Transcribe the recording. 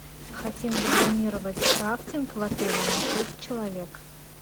хотим забронировать рафтинг в отеле на шесть человек